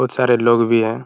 बहुत सारे लोग भी हैं ।